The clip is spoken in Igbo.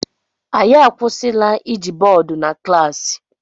Anyị akwụsịla iji bọọdụ na klaasị